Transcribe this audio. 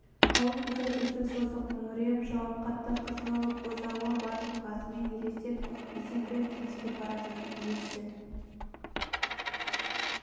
қалың бұзау үздік-создық мөңіреп жауап қатты қызыл бұзауы бар тұлғасымен елестеп есеңгіреп теңселіп бара жатыр иесі